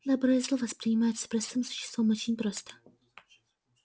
добро и зло воспринимаются простым существом очень просто